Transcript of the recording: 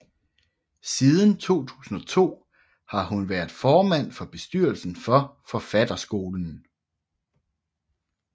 Siden 2002 har hun været formand for bestyrelsen for Forfatterskolen